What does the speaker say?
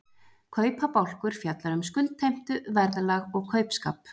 Kaupabálkur fjallar um skuldheimtu, verðlag og kaupskap.